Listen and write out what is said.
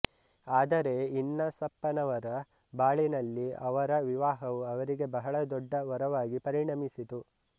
ಆದರೆ ಇನ್ನಾಸಪ್ಪನವರ ಬಾಳಿನಲ್ಲಿ ಅವರ ವಿವಾಹವು ಅವರಿಗೆ ಬಹಳ ದೊಡ್ಡ ವರವಾಗಿ ಪರಿಣಮಿಸಿತು